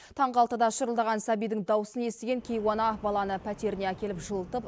таңғы алтыда шырылдаған сәбидің дауысын естіген кейуана баланы пәтеріне әкеліп жылытып